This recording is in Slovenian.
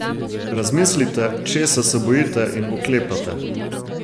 Razmislite, česa se bojite in oklepate.